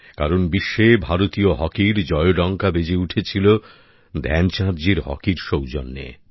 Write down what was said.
কারণ বিশ্বে ভারতীয় হকির জয়ডঙ্কা বেজে উঠেছিল ধ্যানচাঁদজির হকির সৌজন্যে